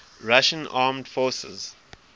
russian armed forces